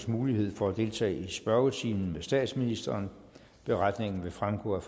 mulighed for at deltage i spørgetimen med statsministeren beretningen vil fremgå af